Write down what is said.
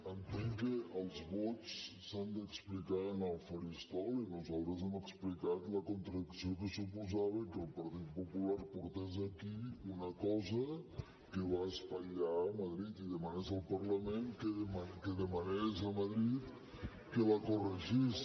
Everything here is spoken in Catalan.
entenc que els vots s’han d’explicar en el faristol i nosaltres hem explicat la contradicció que suposava que el partit popular portés aquí una cosa que va espatllar a madrid i demanés al parlament que demanés a madrid que la corregís